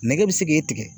Nɛgɛ bɛ se k'e tigɛ